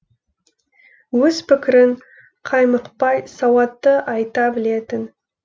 өз пікірін қаймықпай сауатты айта білетін